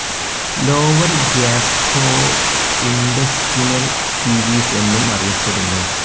Lower gastrointestinal series എന്നും അറിയപ്പെടുന്നു.